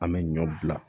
An bɛ ɲɔ bila